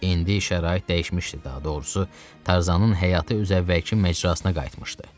İndi şərait dəyişmişdi, daha doğrusu, Tarzanın həyatı öz əvvəlki məcrasına qayıtmışdı.